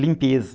Limpeza.